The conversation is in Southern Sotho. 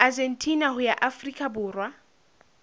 argentina ho ya afrika borwa